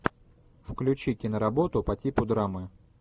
включи киноработу по типу драмы